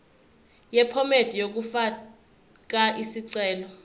yephomedi yokufaka isicelo